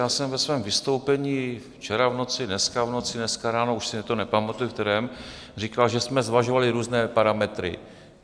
Já jsem ve svém vystoupení včera v noci, dneska v noci, dneska ráno, už si to nepamatuji, ve kterém, říkal, že jsme zvažovali různé parametry.